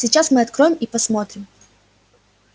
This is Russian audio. сейчас мы откроем и посмотрим